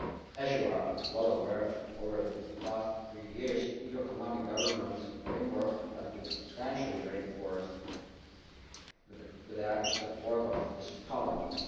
As you are well aware, over the past three years the EU economic governance framework has been substantially reinforced, with the active support of this Parliament.